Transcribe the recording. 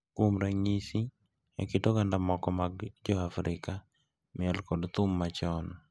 Kuom ranyisi, e kit oganda moko mag Joafrika, miel kod thum machon.